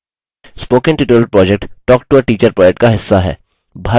* spoken tutorial project talktoateacher project का हिस्सा है